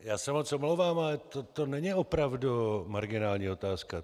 Já se moc omlouvám, ale to není opravdu marginální otázka.